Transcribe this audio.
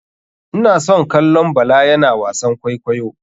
Ina son kallon bala yana wasan kwaikwayo.